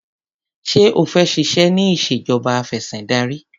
Ṣé o fẹ́ ṣiṣẹ́ ní ìṣèjọba afẹ̀sìndarí?